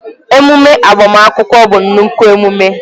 Ememe agbamakwụkwọ bụ nnukwu emume